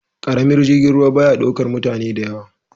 Karamin jirgin ruwa ba ya daukar mutane da yawa.